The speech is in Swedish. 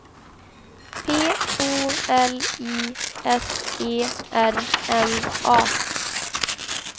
P O L I S E R N A